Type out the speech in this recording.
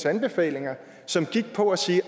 anbefalinger som gik på at sige at